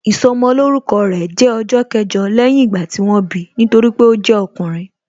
Ìsọmolórúkọ rẹ̀ jẹ́ ọjọ́ kẹjọ lẹ́yìn ìgbà tí wọ́n bi, nítorí pé ó jẹ́ ọkùnrin